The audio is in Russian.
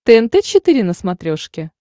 тнт четыре на смотрешке